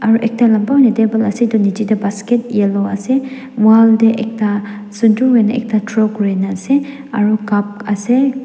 aro ekta lamba hoina table ase etu niji de basket yellow ase wall de ekta sundur hoina ekta draw kurina ase aro cup ase.